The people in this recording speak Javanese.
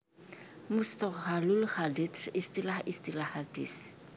Musthohalul hadits Istilah istilah hadits